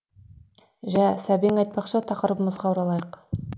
жә сәбең айтпақшы тақырыбымызға оралайық